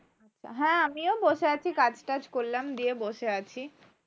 হ্যাঁ আমিও বসে আছি কাজটাজ করলাম দিয়ে বসে আছি।